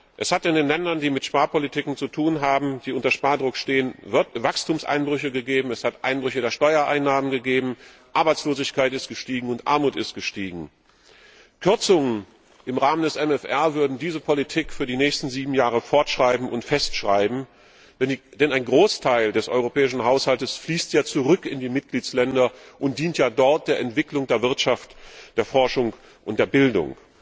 Es hat in den Ländern, die mit Sparpolitiken zu tun haben, die unter Spardruck stehen, Wachstumseinbrüche gegeben, es hat Einbrüche der Steuereinnahmen gegeben, die Arbeitslosigkeit ist gestiegen und die Armut ist gestiegen. Kürzungen im Rahmen des MFR würden diese Politik für die nächsten sieben Jahre fortsetzen und festschreiben, denn ein Großteil des Europäischen Haushalts fließt zurück in die Mitgliedstaaten und dient dort der Entwicklung der Wirtschaft, der Forschung und der Bildung.